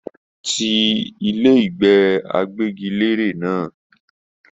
Tí ilé ìgbé àgbẹgilère náà!